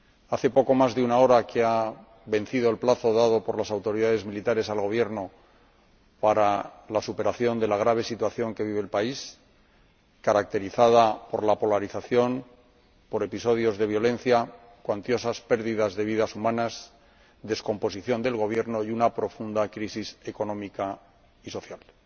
Hace poco más de una hora que ha vencido el plazo dado por las autoridades militares al Gobierno para la superación de la grave situación que vive el país, caracterizada por la polarización, por episodios de violencia, cuantiosas pérdidas de vidas humanas, descomposición del Gobierno y una profunda crisis económica y social.